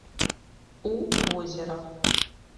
у озера